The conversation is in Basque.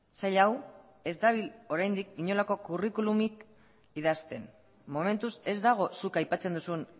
sail hau ez dabil oraindik inolako curriculumik idazten momentuz ez dago zuk aipatzen duzun